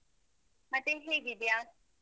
ಮತ್ತೆ, ಹೇಗಿದ್ಯಾ?